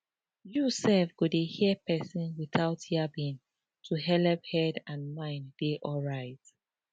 you self go dey hear persin without yabbing to helep head and mind dey alright